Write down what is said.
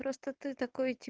просто ты так